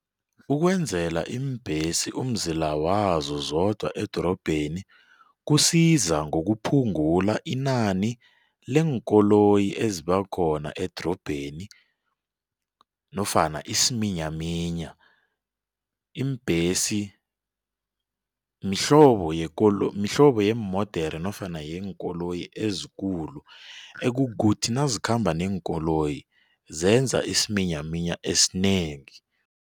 Ukwenzela iimbhesi umzila wazo zodwa edorobheni kusiza ngokuphungula inani leenkoloyi eziba khona edorobheni nofana isiminyaminya. Iimbhesi mihlobo mihlobo yeemodere nofana yeenkoloyi ezikulu ekukuthi nazikhamba neenkoloyi, zenza isiminyaminya esinengi.